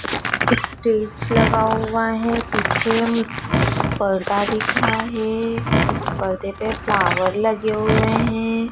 Stage लगा हुआ है पिछे मे पर्दा दिख रहा है उस पर्दे पर फ्लावर लगे हुए हैं।